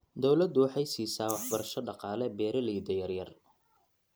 Dawladdu waxay siisaa waxbarasho dhaqaale beeralayda yaryar.